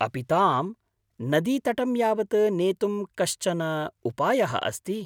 अपि तां नदीतटं यावत् नेतुं कश्चन उपायः अस्ति?